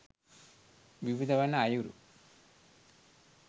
විවිධ වන අයුරු